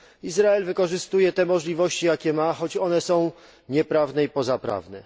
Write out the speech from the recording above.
Izrael wykorzystuje te możliwości, jakie ma, choć one są nieprawne i pozaprawne.